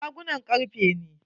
Shagunan karfe ne.